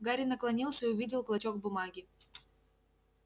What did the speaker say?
гарри наклонился и увидел клочок бумаги